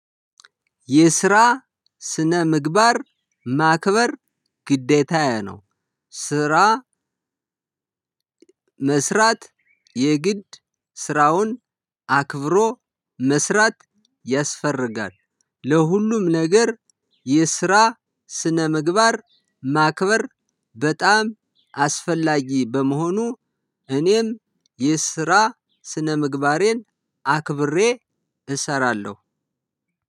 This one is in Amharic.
የስራ ስነ ምግባር ማክበር ግዴታዬ ነው። ስራ መስራት የግድ ስራውን አክብሮ መስራት ያስፈልጋል። ለሁሉም ነገር የስራ ስነ ምግባር ማክበር በጣም አስፈላጊ በመሆኑ። እኔም የስራ ስነ ምግባሬን አክብሬ እሰራለሁ።